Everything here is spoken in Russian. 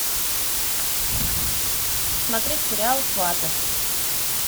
смотреть сериал сваты